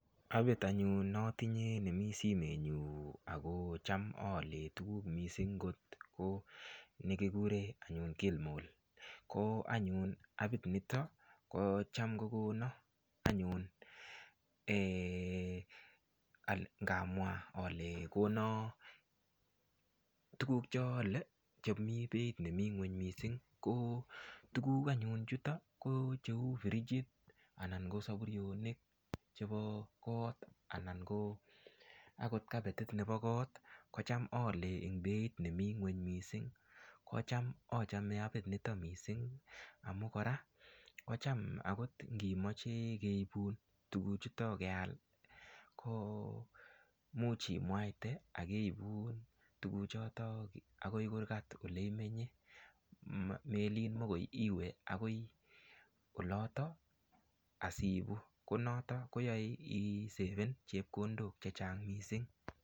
Apit anyun natinye nemi simenyu ako cham aolee tukuk mising' ko nekikure anyun kilimall ko anyun apit nito ko cham kokono tukuk chaole chemi beit nemi ng'weny mising' ko tukuk anyun chuto ko cheu frijit anan ko sapurionik chebo kot anan ko akot kapetit nebo kot kocham aolee beit nemi ng'weny mising' kocham achome apit nito mising' amu kora kocham akot ngimoche keibun tukuchuto keal ko much imwaite akeibun tukuchuto akoi kurgat ole imenye melin mikoi iwe akoi oloto asiibu ko noto koyoi isepen chepkondok chechang' mising'